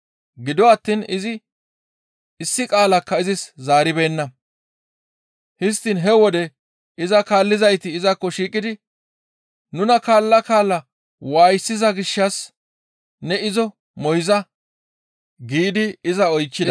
Gido attiin izi issi qaalakka izis zaaribeenna. Histtiin he wode iza kaallizayti izakko shiiqidi, «Nuna kaalla kaalla waayisiza gishshas ne izo moyza» giidi iza oychchida.